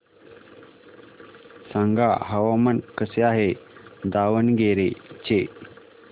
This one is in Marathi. सांगा हवामान कसे आहे दावणगेरे चे